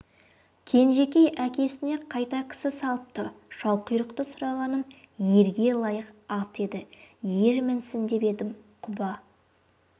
кенжекей әкесіне қайта кісі салыпты шалқұйрықты сұрағаным ерге лайық ат еді ер мінсін деп едім құба